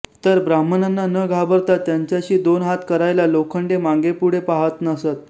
तर ब्राम्हणांना न घाबरता त्यांच्याशी दोन हात करायला लोखंडे मागेपूढे पाहात नसत